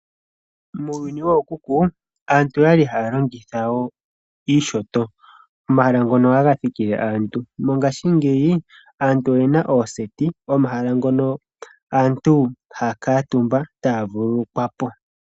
Muuyuni wookuku aantu okwa li haya longitha iinyanga omahala ngono haga thikile aantu. Mongashingeyi aantu oyena ooseti omahala ngono aantu haya kuutumba etaya vululukwa po.